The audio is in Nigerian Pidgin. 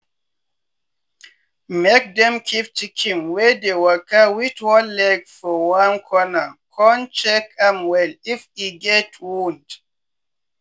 make dem keep chicken wey dey waka wit one leg for one corner con check am well if e get wound.